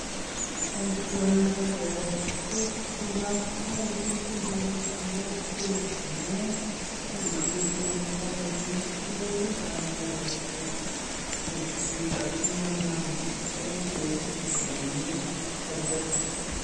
Boisioni bo kesuut tuga, koyoe chitugul en kokwet amun ngele chitugul koale kerichek agonyokosuut tugchik asimanam mogonjwet ne konu kerbesik.